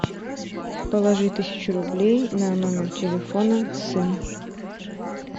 положи тысячу рублей на номер телефона сын